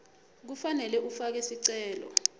kufanele ufake sicelo